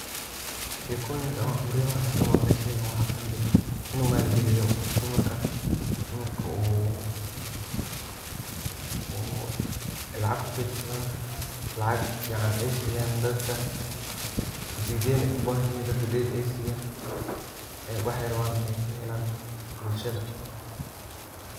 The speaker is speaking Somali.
sheekoyinka mise qibradaha anka maqle sheygan waxaa kamide in u maal geeliyo dumarka. dumarka uu lacag kukedsadan. lacag fican ay siyan dadka. hadii deen ay ubahan yihin dadka deen ay siyan ,waxay raban ay ka helan bulshada